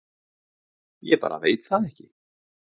Ég bara veit það ekki